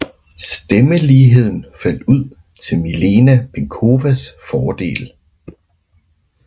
Stemmeligheden faldt ud til Milena Penkowas fordel